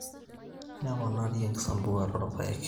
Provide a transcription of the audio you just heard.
Neponari enkisampuare oorpaek.